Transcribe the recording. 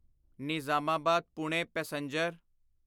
Nizamabad Pune passenger